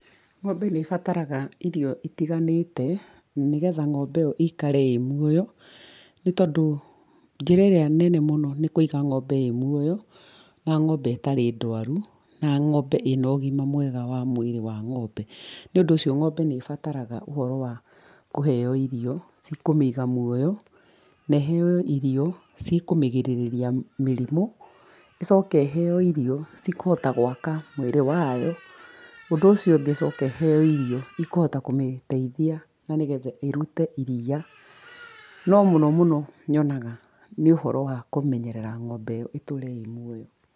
Ng'ombe nĩ ĩbataraga irio itiganĩte nĩgetha ng'ombe ĩyo ĩikare ĩ muoyo nĩ tondũ njĩra ĩrĩa nene mũno nĩ kũiga ng'ombe ĩ muoyo na ng'ombe ĩtarĩ ndwaru, na ng'ombe ĩ na ũgima mwega wa mwĩrĩ wa ng'ombe. Nĩũndũ ũcio ng'ombe nĩ ibataraga ũhoro wa kũheo irio cikũmĩiga muoyo, na iheo irio cikũmĩgirĩrĩria mĩrimũ, ĩcoke ĩheo irio cikũhota gwaka mwĩrĩ wayo. Ũndũ ũcio ũngĩ ĩcoke ĩheo irio ikũhota kũmĩteithia na nĩgetha ĩrute iria, no mũno mũno nyonaga nĩ ũhoro wa kũmenyerera ng'ombe ĩyo ĩtũre ĩ muoyo.